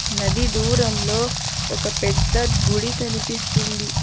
నది దూరంలో ఒక పెద్ద గుడి కనిపిస్తుంది.